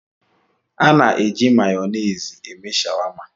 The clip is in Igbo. A na-eji Mayonezi eme shawama